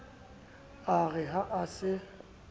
e re ha a se